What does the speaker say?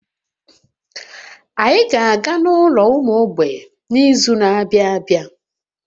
Anyị ga-aga n'ụlọ ụmụ mgbei n'izu na-abịa abịa